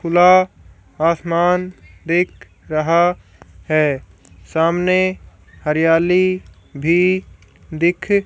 खुला आसमान दिख रहा है सामने हरियाली भी दिख--